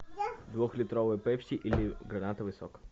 двухлитровый пепси или гранатовый сок